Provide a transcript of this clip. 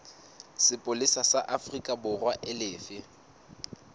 sepolesa sa aforikaborwa e lefe